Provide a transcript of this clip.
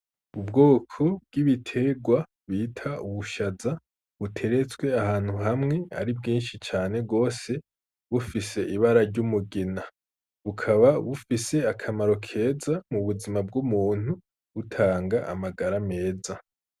Ubwoko bw'ibiterwa bita ubushaza buteretswe ahantu hamwe ari bwinshi cane rwose bufise ibara ry’umugina, bukaba bufise akamaro keza mu buzima bw'umuntu butanga amagara meza.